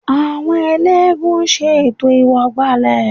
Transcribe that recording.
Àwọn eléégún ṣe ètò ìwọ̀gbàlẹ̀